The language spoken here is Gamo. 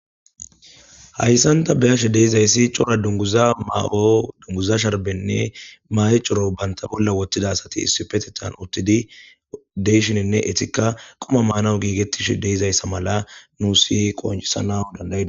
Hayssanta beyashe deizayssi cora dunguza maa'o dunguza sharbenne ma'e coro banta bolla wottida asati issi petetan uttidi deyshininne etikka qoma maanawu giigettish deizayssa mala nu si qoncisana dandayda.